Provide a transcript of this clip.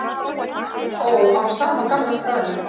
Ó, á sama gamla staðnum.